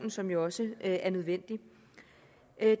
som jo også er nødvendig